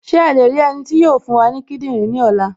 Ṣé a lè rí ẹni tí yóò fún wa ní kíndìnrín ní ọ̀la?